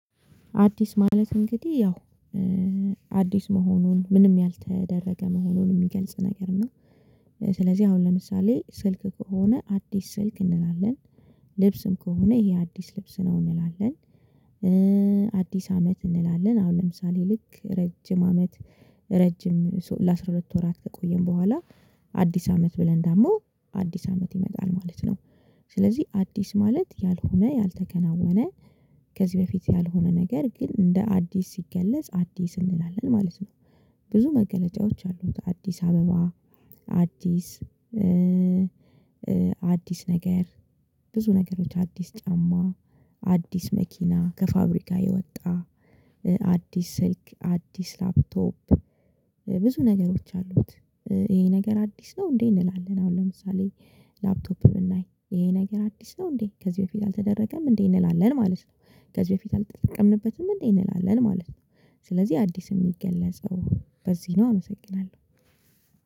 አዲስ ማለት እንግዲህ ያው አዲስ መሆኑን ምንም ያልተደረገ መሆኑን የሚገልጽ ነገር ነው። ስለዚህ አሁን ለምሳሌ ስልክ ከሆነ አዲስ ስልክ እንላለን ልብስም ከሆነ ይሄ አዲስ ልብስ ነው እንላለን አዲስ አመት እንላለን አሁን ለምሳሌ ልክ ረጅም አመት ረጅም ለአስራ ሁለት ወራት ከቆየን በኋላ አዲስ አመት ብለን ደግሞ አዲስ አመት ይመጣል ማለት ነው። ስለዚህ አዲስ ማለት ያልሆነ ያልተከናወነ ከዚህ በፊት ያልሆነ ነገር ግን እንደ አዲስ ሲገለጽ አዲስ እንላለን ማለት ነው። ብዙ መገለጫዎች አሉት አዲስ አበባ አዲስ አዲስ ነገር ብዙ ነገሮች አዲስ ጫማ አዲስ መኪና ከፋብሪካ የወጣ አዲስ ስልክ አዲስ ላፕቶፕ ብዙ ነገሮች አሉት። ይሄ ነገር አዲስ ነው እንዴ እንላለን? አሁን ለምሳሌ ላፕቶፕ ብናይ ይሄ ነገር አዲስ ነው እንዴ ከዚህ በፊት አልተደረገም እንዴ እንላለን ማለት ነው። ከዚህ በፊት አልተጠቀምንበትም እንዴ እንላለን ማለት ነው። ስለዚህ አዲስ የሚገለጸው በዚህ ነው አመሰግናለሁ።